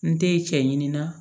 N te cɛ ɲininka